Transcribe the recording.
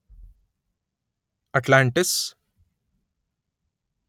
Atlantis